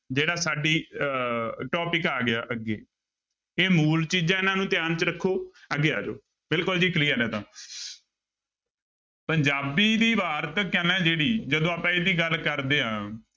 ਜਿਹੜਾ ਸਾਡੀ ਅਹ topic ਆ ਗਿਆ ਅੱਗੇ ਇਹ ਮੂਲ ਚੀਜ਼ਾਂ ਇਹਨਾਂ ਨੂੰ ਧਿਆਨ ਚ ਰੱਖੋ ਅੱਗੇ ਆ ਜਾਓ ਬਿਲਕੁਲ ਜੀ clear ਹੈ ਤਾਂ ਪੰਜਾਬੀ ਦੀ ਵਾਰਤਕ ਹੈ ਨਾ ਜਿਹੜੀ, ਜਦੋਂ ਆਪਾਂ ਇਹਦੀ ਗੱਲ ਕਰਦੇ ਹਾਂ।